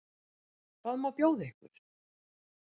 Hvað má bjóða ykkur?